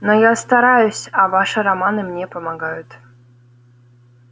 но я стараюсь а ваши романы мне помогают